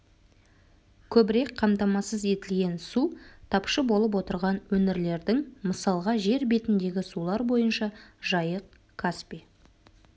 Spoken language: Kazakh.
көбірек қамтамасыз етілген су тапшы болып отырған өңірлердің мысалға жер бетіндегі сулар бойынша жайық-каспий